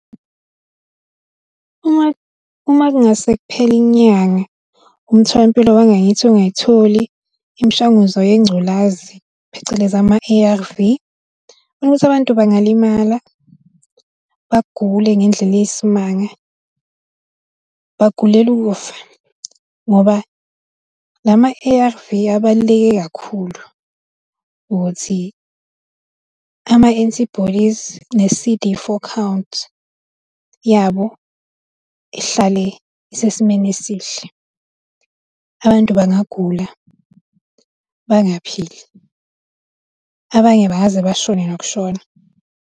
Uma, uma kungase kuphele inyanga, umtholampilo wangakithi ungayitholi imishanguzo yengculazi, phecelezi ama-A,_R_V ngibona ukuthi abantu bangalimala, bagule ngendlela eyisimanga, bagulele ukufa, ngoba lama-A_R_V abaluleke kakhulu ukuthi ama-antibodies ne-C_D four count yabo ihlale isesimeni esihle. Abantu bangagula, bangaphili, abanye bangaze bashone nokushona.